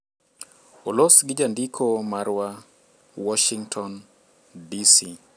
olos gi jandiko marwa, Warshington, DC